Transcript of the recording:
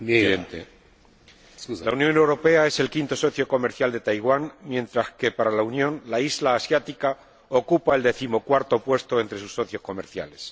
Señor Presidente, la Unión Europea es el quinto socio comercial de Taiwán, mientras que, para la Unión, la isla asiática ocupa el decimocuarto puesto entre sus socios comerciales.